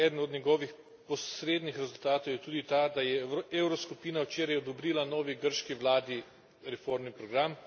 Eden od njegovih posrednih rezultatov je tudi ta, da je evroskupina včeraj odobrila novi grški vladi reformni program.